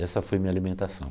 Essa foi minha alimentação.